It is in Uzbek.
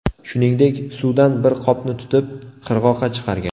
Shuningdek, suvdan bir qopni tutib, qirg‘oqqa chiqargan.